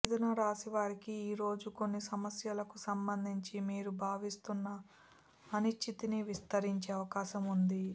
మిధున రాశి వారికి ఈరోజు కొన్ని సమస్యలకు సంబంధించి మీరు భావిస్తున్న అనిశ్చితి విస్తరించే అవకాశం ఉంది